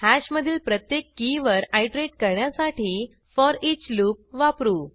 हॅशमधील प्रत्येक की वर आयटरेट करण्यासाठी फोरिच लूप वापरू